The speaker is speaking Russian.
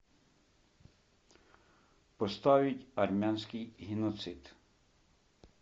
поставить армянский геноцид